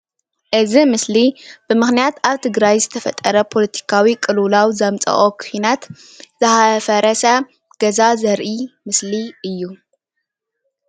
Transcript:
እዚ ምስሊ ብምክንያት ኣብ ትግራይ ዝተፈጠረ ፖለቲካዊ ቁልውላው ዘምፅኦ ኩናት ዝፈረሰ ገዛ ዘርኢ ምስሊ እዩ፡፡